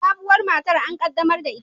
Sabuwar matar an qaddamar da ita